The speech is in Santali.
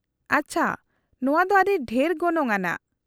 -ᱟᱪᱪᱷᱟ ᱾ ᱱᱚᱶᱟ ᱫᱚ ᱟᱹᱰᱤ ᱰᱷᱮᱨ ᱜᱚᱱᱚᱝ ᱟᱱᱟᱜ ᱾